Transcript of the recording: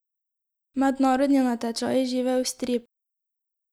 Mednarodni natečaj Živel strip!